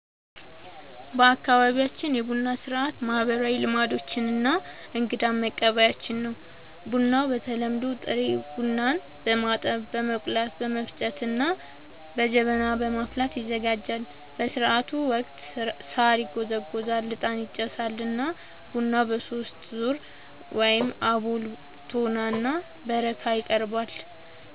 በአካባቢያችን የቡና ሥርዓት ማህበራዊ ልምዶች እና እንግዳን መቀበያችን ነው። ቡናው በተለምዶ ጥሬ ቡናን በማጠብ፣ በመቆላት፣ በመፍጨት እና በጀበና በማፍላት ይዘጋጃል። በሥርዓቱ ወቅት ሣር ይጎዘጎዛል፣ ዕጣን ይጨሳል እና ቡናው በሦስት ዙር (አቦል፣ ቶና እና በረካ) ይቀርባል።